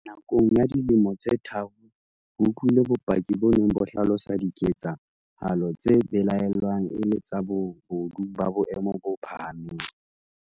Nakong ya dilemo tse tharo, re utlwile bopaki bo neng bo hlalosa diketsa halo tse belaellwang e le tsa bobodu ba boemo bo phahameng.